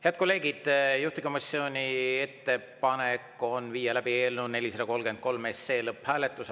Head kolleegid, juhtivkomisjoni ettepanek on viia läbi eelnõu 433 lõpphääletus.